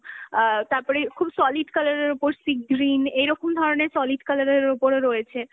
অ্যাঁ তার পরে খুব solid colour এর ওপর sea green এইরকম ধরনের solid colour এর ওপরও রয়েছে